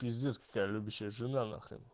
пиздец какая любящая жена нахрен